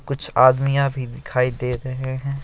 कुछ आदमिया भी दिखाई दे रहे हैं।